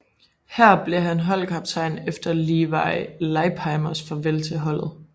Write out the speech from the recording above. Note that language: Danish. Her blev han holdkaptajn efter Levi Leipheimers farvel til holdet